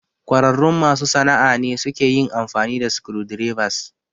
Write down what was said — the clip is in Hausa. ƙwararrun masu sana'a ne suke yin amfani da screwdrivers.